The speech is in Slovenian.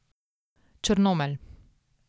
Črnomelj.